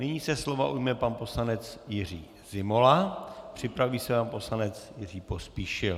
Nyní se slova ujme pan poslanec Jiří Zimola, připraví se pan poslanec Jiří Pospíšil.